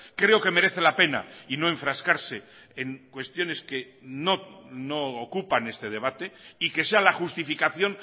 creo que merece la pena y no enfrascarse en cuestiones que no ocupan este debate y que sea la justificación